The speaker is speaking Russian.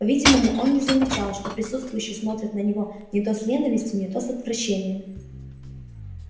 по-видимому он не замечал что присутствующие смотрят на него не то с ненавистью не то с отвращением